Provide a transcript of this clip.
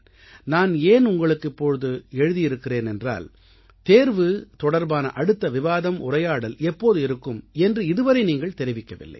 நான் ஏன் உங்களுக்கு இப்போது எழுதியிருக்கிறேன் என்றால் தேர்வு தொடர்பான அடுத்த விவாதம் உரையாடல் எப்போது இருக்கும் என்று இதுவரை நீங்கள் தெரிவிக்கவில்லை